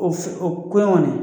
O o koɲɔnw dɛ